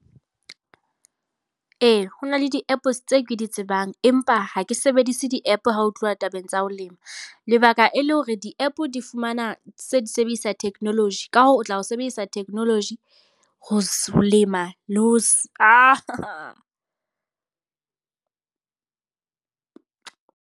Ee, ho na le di-app tseo ke di tsebang. Empa ha ke sebedise di-app ha ho tluwa tabeng tsa ho lema. Lebaka e le hore di-app di fumana tse di sebedisa technology. Ka hoo, o tla ho sebedisa technology ho lema le ho .